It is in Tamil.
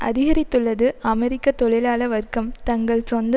அதிகரித்துள்ளது அமெரிக்க தொழிலாள வர்க்கம் தங்கள் சொந்த